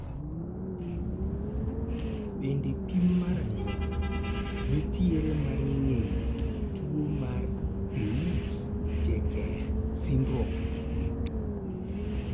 Bende pim mar anyuola nitiere mar ng'eyo tuo mar Peutz Jeghers syndrome?